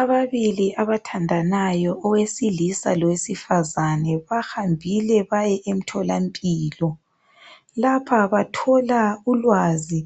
Ababili abathandanayo, owesilisa lowesifazane. Hambile baye emtholampilo, lapha bathola ulwazi